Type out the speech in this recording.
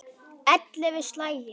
Ellefu slagir.